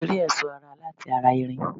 A lè rí ẹ̀sọ́ ara láti ara irin